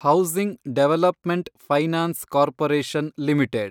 housing development finance corporation limited